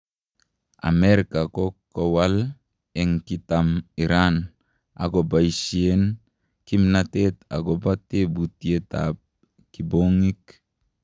Amerika ko kowal en kitam iran ak kopaishen kipnatet agopa teputiet ap kiponyik